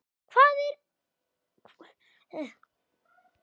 Hvað það er?